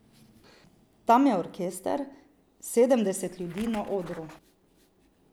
Tam je orkester, sedemdeset ljudi na odru ...